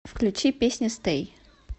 включи песня стэй